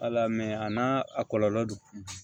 Ala mɛ a n'a a kɔlɔlɔ do